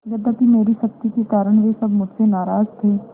यद्यपि मेरी सख्ती के कारण वे सब मुझसे नाराज थे